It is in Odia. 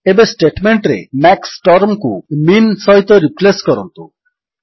ଏବେ ଷ୍ଟେଟମେଣ୍ଟରେ ମାକ୍ସ ଟର୍ମକୁ ମିନ୍ ସହିତ ରିପ୍ଲେସ୍ କରନ୍ତୁ